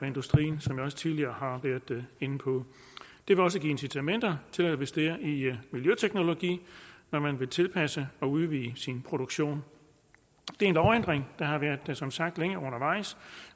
industrien som jeg også tidligere har været inde på det vil også give incitamenter til at investere i miljøteknologi når man vil tilpasse og udvide sin produktion det er en lovændring der som sagt længe undervejs